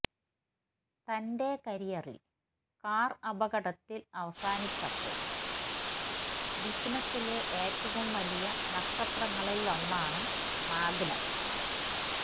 തന്റെ കരിയറിൽ കാർ അപകടത്തിൽ അവസാനിച്ചപ്പോൾ ബിസിനസ്സിലെ ഏറ്റവും വലിയ നക്ഷത്രങ്ങളിലൊന്നാണ് മാഗ്നം